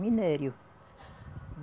Minério.